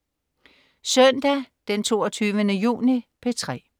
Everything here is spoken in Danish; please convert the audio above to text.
Søndag den 22. juni - P3: